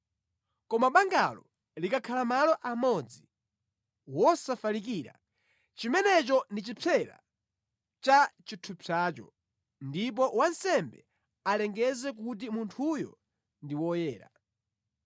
Koma bangalo likakhala malo amodzi, wosafalikira, chimenecho ndi chipsera cha chithupsacho, ndipo wansembe alengeze kuti munthuyo ndi woyera.